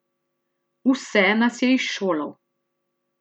Vse nas je izšolal.